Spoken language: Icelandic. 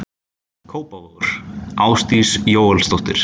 Kópavogur: Ásdís Jóelsdóttir.